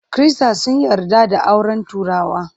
Kirista sun yarda da auren turawa.